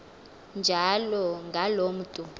njalo ngaloo mntu